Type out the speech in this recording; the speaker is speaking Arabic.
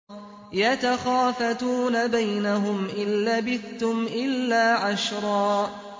يَتَخَافَتُونَ بَيْنَهُمْ إِن لَّبِثْتُمْ إِلَّا عَشْرًا